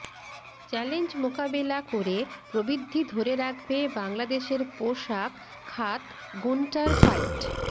challenge মোকাবেলা করে প্রবৃদ্ধি ধরে রাখবে বাংলাদেশের পোশাক খাত গুন্টার ফাইট